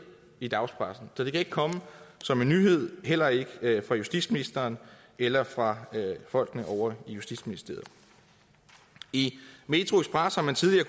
i dagspressen så det kan ikke komme som en nyhed heller ikke for justitsministeren eller for folkene ovre i justitsministeriet i metroxpress har man tidligere